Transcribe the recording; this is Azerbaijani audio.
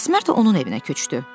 Əsmər də onun evinə köçdü.